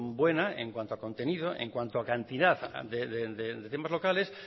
buena en cuanto a contenido en cuanto a cantidad de temas locales